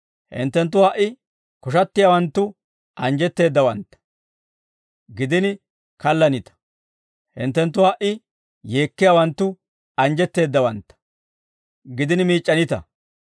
Hinttenttu ha"i koshattiyaawanttu anjjetteeddawantta; gidini kaallanita; hinttenttu ha"i yeekkiyaawanttu anjjetteeddawantta; gidini miic'c'anita.